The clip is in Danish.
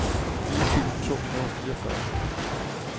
fire tusind to hundrede og fireogfyrre